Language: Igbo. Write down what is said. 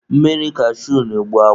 Mmiri kashui na-egbu akwa.